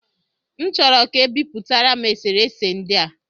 M chọrọ ka e bipụtara m eserese ndị a